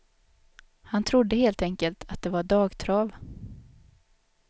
Han trodde helt enkelt att det var dagtrav.